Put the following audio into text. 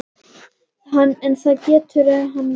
En það getur hann ekki.